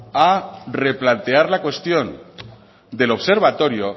a replantear la cuestión del observatorio